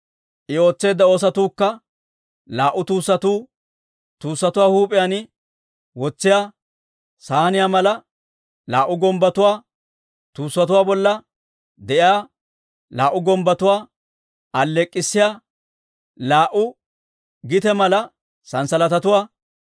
I ootseedda oosotuukka: Laa"u tuussatuu, Tuussatuwaa huup'iyaan wotsiyaa saynne mala laa"u gumbbotuwaa, Tuussatuwaa bolla de'iyaa laa"u gumbbotuwaa alleek'k'issiyaa laa"u gite mala sanssalatatuwaa,